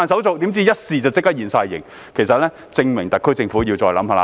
誰料一試便立即全部現形，證明特區政府要再思考。